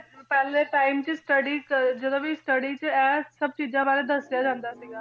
ਪਹਿਲੇ time ਚ study ਕ~ ਜਦੋਂ ਵੀ study 'ਚ ਇਹ ਸਭ ਚੀਜਾਂ ਬਾਰੇ ਦਸਿਆ ਜਾਂਦਾ ਸੀਗਾ